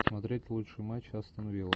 смотреть лучший матч астон вилла